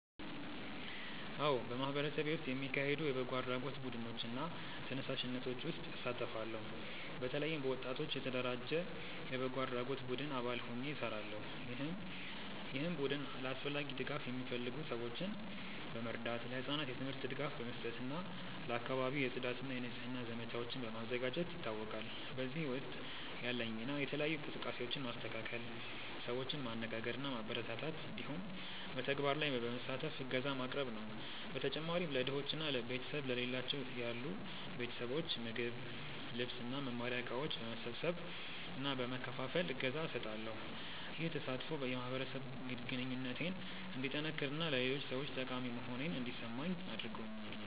አዎ፣ በማህበረሰቤ ውስጥ የሚካሄዱ የበጎ አድራጎት ቡድኖች እና ተነሳሽነቶች ውስጥ እሳተፋለሁ። በተለይም በወጣቶች የተደራጀ የበጎ አድራጎት ቡድን አባል ሆኜ እሰራለሁ፣ ይህም ቡድን ለአስፈላጊ ድጋፍ የሚፈልጉ ሰዎችን በመርዳት፣ ለህጻናት የትምህርት ድጋፍ በመስጠት እና ለአካባቢው የጽዳት እና የንጽህና ዘመቻዎችን በማዘጋጀት ይታወቃል። በዚህ ውስጥ ያለኝ ሚና የተለያዩ እንቅስቃሴዎችን ማስተካከል፣ ሰዎችን ማነጋገር እና ማበረታታት እንዲሁም በተግባር ላይ በመሳተፍ እገዛ ማቅረብ ነው። በተጨማሪም ለድሆች እና ቤተሰብ ለሌላቸው ያሉ ቤተሰቦች ምግብ፣ ልብስ እና መማሪያ እቃዎች በመሰብሰብ እና በመከፋፈል እገዛ እሰጣለሁ። ይህ ተሳትፎ የማህበረሰብ ግንኙነቴን እንዲጠነክር እና ለሌሎች ሰዎች ጠቃሚ መሆኔን እንዲሰማኝ አድርጎኛል።